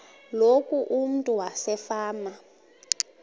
loku umntu wasefama